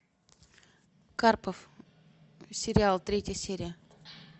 карпов сериал третья серия